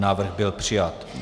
Návrh byl přijat.